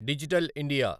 digital India